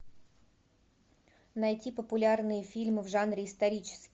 найти популярные фильмы в жанре исторический